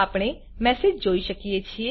આપણે મેસેજ જોઈ શકીએ છે